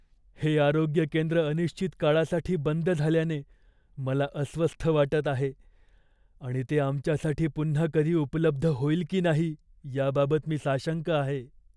हे आरोग्य केंद्र अनिश्चित काळासाठी बंद झाल्याने मला अस्वस्थ वाटत आहे आणि ते आमच्यासाठी पुन्हा कधी उपलब्ध होईल की नाही याबाबत मी साशंक आहे.